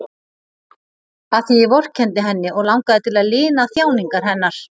Af því ég vorkenndi henni og langaði til að lina þjáningar hennar.